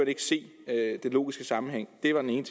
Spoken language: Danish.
ikke se den logiske sammenhæng det var den ene